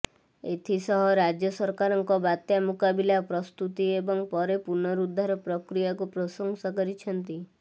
ଏଥି ସହ ରାଜ୍ୟ ସରକାରଙ୍କ ବାତ୍ୟା ମୁକାବିଲା ପ୍ରସ୍ତୁତି ଏବଂ ପରେ ପୁନରୁଦ୍ଧାର ପ୍ରକ୍ରିୟାକୁ ପ୍ରଶଂସା କରିଛନ୍ତି